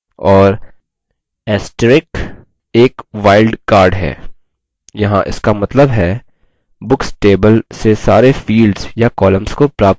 और * एक wild card है यहाँ इसका मतलब है books table से सारे fields या columns को प्राप्त करिये